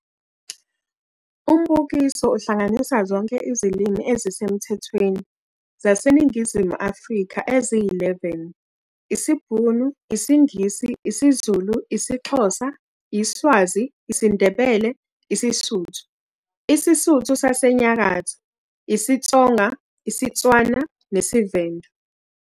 Umbukiso uhlanganisa zonke izilimi ezisemthethweni zaseNingizimu Afrika eziyi-11- isiBhunu, isiNgisi, isiZulu, isiXhosa, iSwazi, isiNdebele, isiSuthu, isiSuthu saseNyakatho, isiTsonga, isiTswana nesiVenda.